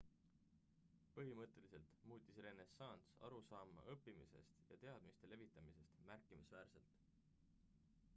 põhimõtteliselt muutis renessanss arusaama õppimisest ja teadmiste levitamisest märkimisväärselt